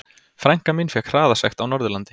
Frænka mín fékk hraðasekt á Norðurlandi.